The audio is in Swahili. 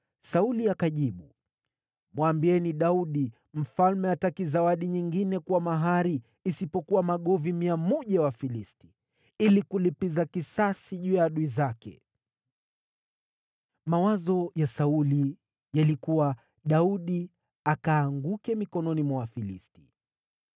Sauli akajibu, “Mwambieni Daudi, ‘Mfalme hataki zawadi nyingine kuwa mahari isipokuwa magovi 100 ya Wafilisti, ili kulipiza kisasi juu ya adui zake.’ ” Mawazo ya Sauli yalikuwa Daudi akaanguke mikononi mwa Wafilisti.